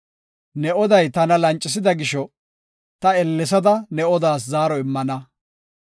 “Ne oday tana lancisida gisho, ta ellesada ne odaas zaaro immana.